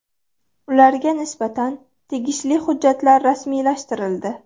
Ularga nisbatan tegishli hujjatlar rasmiylashtirildi.